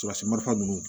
Surasimata ninnu